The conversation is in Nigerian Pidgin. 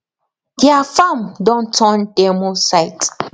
deir farm don turn demo site